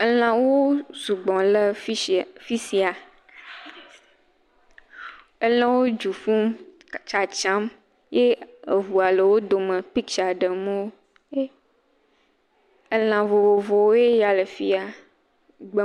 Elã vovovowoe ya le fi ya. Elãwo sugbɔ le fi tsia, sia. Elãwo du ƒum tsatsam ye eŋua le wo do piktsa ɖem wo.